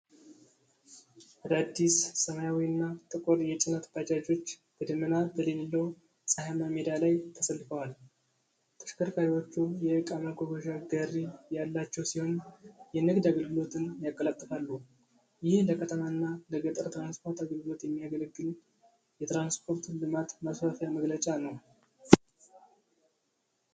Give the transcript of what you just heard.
አዳዲስ ሰማያዊና ጥቁር የጭነት ባጃጆች በደመና በሌለው ፀሐያማ ሜዳ ላይ ተሰልፈዋል። ተሽከርካሪዎቹ የእቃ ማጓጓዣ ጋሪ ያላቸው ሲሆን የንግድ አገልግሎትን ያቀላጥፋሉ። ይህ ለከተማና ለገጠር ትራንስፖርት አገልግሎት የሚያገለግል የትራንስፖርት ልማት ማስፋፊያ መገለጫ ነው።